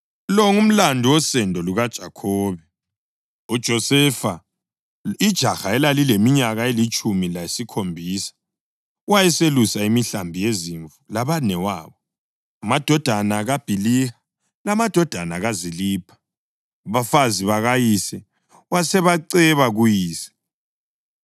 Lo ngumlando wosendo lukaJakhobe. UJosefa ijaha elalileminyaka elitshumi lesikhombisa, wayeselusa imihlambi yezimvu labanewabo, amadodana kaBhiliha lamadodana kaZilipha, abafazi bakayise, wasebaceba kuyise.